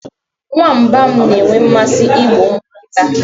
Nwamba m na-enwe mmasị igbu ụmụ nkịta